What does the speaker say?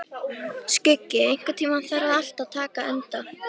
Skuggi, einhvern tímann þarf allt að taka enda.